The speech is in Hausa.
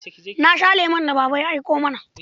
Na sha lemon da Baba ya aiko mana.